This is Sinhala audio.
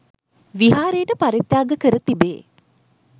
විහාරයට පරිත්‍යාග කර තිබේ.